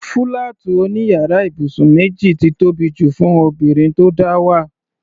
Fúláàtì òní yàrá ibùsùn méjì ti tóbi jù fún obìnrin tó dáwà.